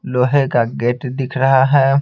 लोहे का गेट दिख रहा है।